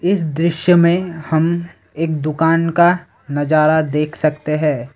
इस दृश्य में हम एक दुकान का नजारा देख सकते हैं।